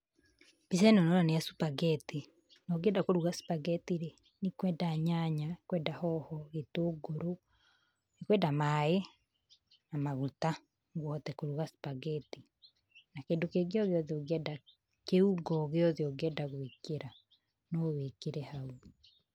Mbica ĩno ĩronania supangeti, na ũngĩenda kũruga supangeti-rĩ, ikwenda nyanya, ũkwenda hoho, gĩtũngũrũ, ũkwenda maĩ, na maguta, ũhote kũruga supangeti. Na kĩndũ kĩngĩ o gĩothe ũngĩenda, kĩungo o gĩothe ũngĩenda gũĩkĩra, no wĩkĩre hau.